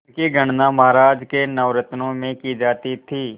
उनकी गणना महाराज के नवरत्नों में की जाती थी